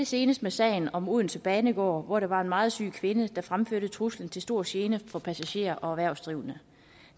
senest i sagen om odense banegård hvor det var en meget syg kvinde der fremførte truslen til stor gene for passagerer og erhvervsdrivende